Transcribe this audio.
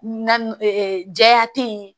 Na jɛya tɛ yen